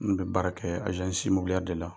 N kun be baara kɛ de la.